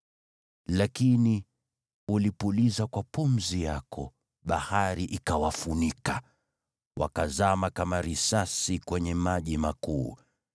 Lakini ulipuliza kwa pumzi yako, bahari ikawafunika. Wakazama kama risasi kwenye maji makuu.